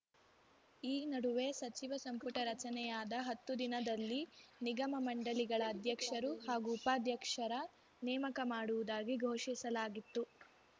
ಈ ನಡುವೆ ಸಚಿವ ಸಂಪುಟ ರಚನೆಯಾದ ಹತ್ತು ದಿನದಲ್ಲಿ ನಿಗಮಮಂಡಳಿಗಳ ಅಧ್ಯಕ್ಷರು ಹಾಗೂ ಉಪಾಧ್ಯಕ್ಷರ ನೇಮಕ ಮಾಡುವುದಾಗಿ ಘೋಷಿಸಲಾಗಿತ್ತು